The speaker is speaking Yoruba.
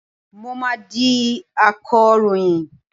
Mo máa di akọ̀ròyìn.